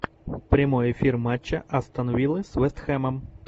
прямой эфир матча астон виллы с вест хэмом